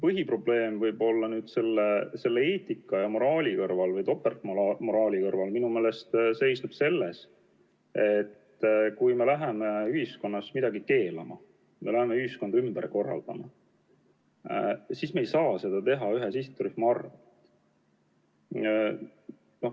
Põhiprobleem eetika ja moraali kõrval või topeltmoraali kõrval minu meelest seisneb selles, et kui me läheme ühiskonnas midagi keelama, kui me läheme ühiskonda ümber korraldama, siis me ei tohi seda teha ühe sihtrühma arvel.